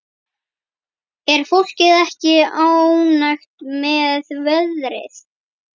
Er fólk ekki ánægt með veðrið?